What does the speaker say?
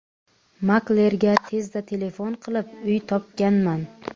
Maklerga tezda telefon qilib, uy topganman.